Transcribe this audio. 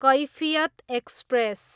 Kaifiyat express